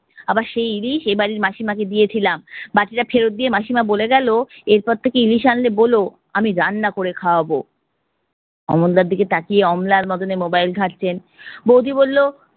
আবার দেয় ইলিশ এইবাড়ির মাসিমাকে দিয়েছিলাম, বাটিটা ফেরত দিয়ে মাসিমা বলে গেলো এরপর থেকে ইলিশ আনলে বোলো আমি রান্না করে খাওয়াবো। ওমরদার দিকে তাকিয়ে mobile ঘটছে। বৌদি বললো